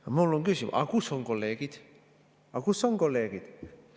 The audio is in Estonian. Aga mul on küsimus: kus on kolleegid, aga kus on kolleegid?